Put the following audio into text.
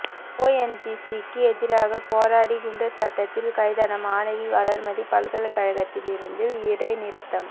ஓஎன்ஜிசிக்கு எதிராக போராடி குண்டர் சட்டத்தில் கைதான மாணவி வளர்மதி பல்கலைக்கழகத்திலிருந்து இடைநிறுத்தம்